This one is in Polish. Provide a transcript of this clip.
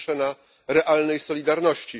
Po pierwsze na realnej solidarności.